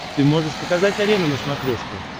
ты можешь показать арена на смотрешке